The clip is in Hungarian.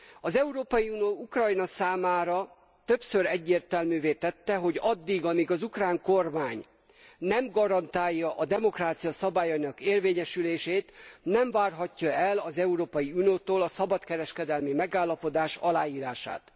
Az Európai Unió Ukrajna számára többször egyértelművé tette, hogy addig, amíg az ukrán kormány nem garantálja a demokrácia szabályainak érvényesülését, nem várhatja el az Európai Uniótól a szabadkereskedelmi megállapodás aláírását.